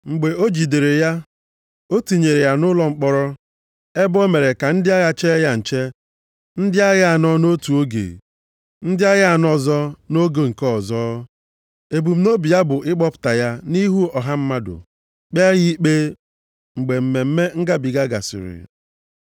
Mgbe o jidere ya, o tinyere ya nʼụlọ mkpọrọ ebe o mere ka ndị agha chee ya nche, ndị agha anọ nʼotu oge, ndị agha anọ ọzọ nʼoge nke ọzọ. Ebumnobi ya bụ ịkpọpụta ya nʼihu ọha mmadụ kpee ya ikpe mgbe Mmemme Ngabiga gasịrị.